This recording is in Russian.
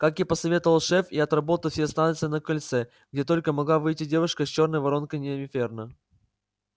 как и посоветовал шеф я отработал все станции на кольце где только могла выйти девушка с чёрной воронкой инферно